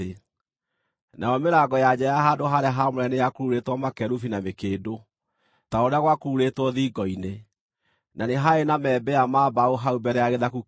Nayo mĩrango ya nja ya handũ-harĩa-haamũre nĩyakururĩtwo makerubi na mĩkĩndũ, ta ũrĩa gwakururĩtwo thingo-inĩ, na nĩ haarĩ na membea ma mbaũ hau mbere ya gĩthaku kĩu.